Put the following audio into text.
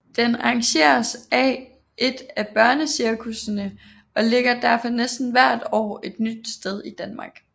Den arrangeres af et af børnecirkussene og ligger derfor næsten hvert år et nyt sted i Danmark